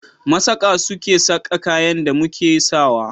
Masaƙa su ke saƙa kayan da muke sa wa.